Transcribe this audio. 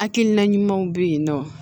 Hakilina ɲumanw bɛ yen nɔ